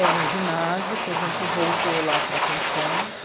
É, no ginásio, que a gente voltou lá para a pensão.